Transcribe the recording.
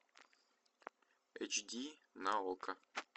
эйч ди на окко